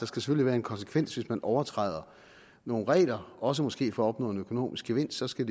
skal være en konsekvens hvis man overtræder nogle regler også måske for at opnå en økonomisk gevinst så skal